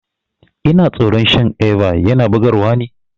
Ina tsoron shan Eva, yana bugar wa ne?